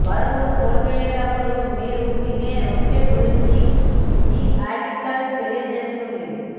బరువు కోల్పోయేటప్పుడు మీరు తినే రొట్టె గురించి ఈ ఆర్టికల్ తెలియజేస్తుంది